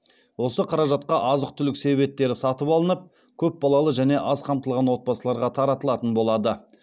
осы қаражатқа азық түлік себеттері сатып алынып көпбалалы және аз қамтылған отбасыларға таратылатын болады